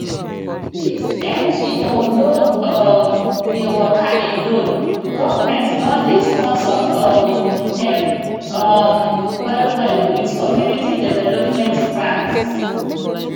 dis ngo no um dey waka alone govt don dey sponsor um dem um well well with community development grants